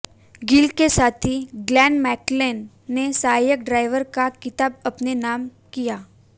गिल के साथी Glenn McNeill ने सहायक ड्राइवर का खिताब अपने नाम किया